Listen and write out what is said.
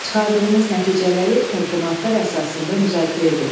Çıxardığınız nəticələri təqdimatlar əsasında müzakirə edin.